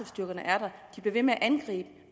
styrkerne er der de bliver ved med at angribe